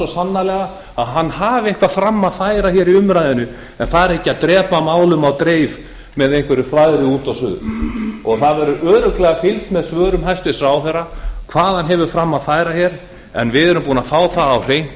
sannarlega að hann hafi eitthvað fram að færa í umræðunni en fari ekki að drepa málum á dreif með einhverju þvaðri út og suður það verður örugglega fylgst með svörum hæstvirtur ráðherra hvað hann hefur fram að færa en við erum búin að fá það